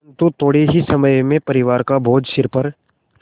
परन्तु थोडे़ ही समय में परिवार का बोझ सिर पर